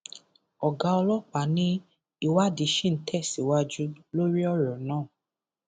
ọgá ọlọpàá ni ìwádìí ṣì ń tẹsíwájú lórí ọrọ náà